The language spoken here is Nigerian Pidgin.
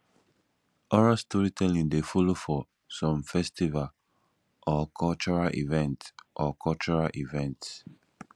oral storytelling de follow for some festival or cultural events or cultural events